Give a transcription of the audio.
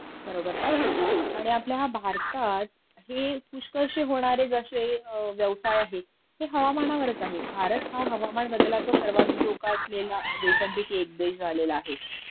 बरोबर बोललीस आणि आपली आपल्या ह्या भारतात हे पुष्कळसे होणारे जशे व्यवसाय आहेत हे हवामानावरच आहेत.भारत हा हवामान बदलाचा सर्वाधिक धोका असलेल्या देशांपैकी एक देश झालेला आहे